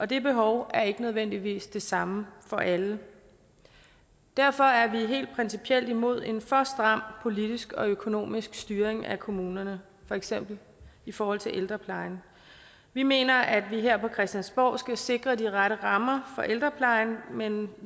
det behov er ikke nødvendigvis det samme for alle derfor er vi helt principielt imod en for stram politisk og økonomisk styring af kommunerne for eksempel i forhold til ældreplejen vi mener at vi her på christiansborg skal sikre de rette rammer for ældreplejen men